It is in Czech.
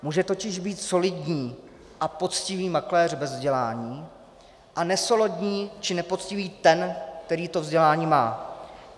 Může totiž být solidní a poctivý makléř bez vzdělání a nesolidní či nepoctivý ten, který to vzdělání má.